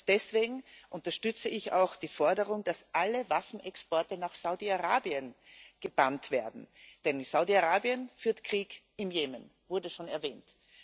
Deswegen unterstütze ich auch die Forderung, dass alle Waffenexporte nach Saudi Arabien verboten werden, denn Saudi Arabien führt Krieg im Jemen das wurde schon erwähnt.